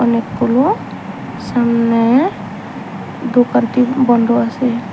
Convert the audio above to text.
অনেকগুলো সামনের দোকানটি বন্ধ আছে।